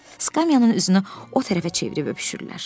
Skamyanın üzünü o tərəfə çevirib öpüşürlər.